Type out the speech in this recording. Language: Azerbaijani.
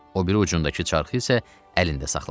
O biri ucundakı çarxı isə əlində saxladı.